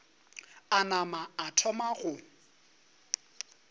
a nama a thoma go